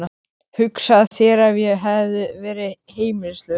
Hugsaðu þér ef ég hefði verið heimilislaus.